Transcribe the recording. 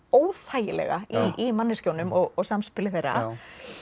óþægilega í manneskjunum og samspili þeirra